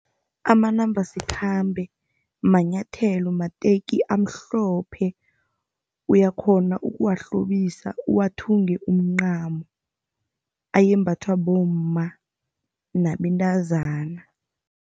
Amanambasikhambe manyathelo, mateki amhlophe. Uyakghona ukuwahlobisa uwathunge umncamo. Ayembathwa bomma nabentazana.